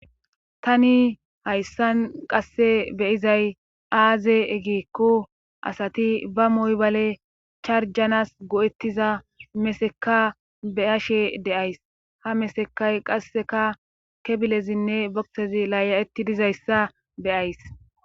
Tani hayssan qasse beyizay aaze egikku asati ba moybale charjanas go'ettiza meseka beyashe deays ha mesekay qasseka kebilezinne boksezi laaya'etti dizayssa beyays.